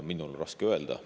Minul on raske öelda.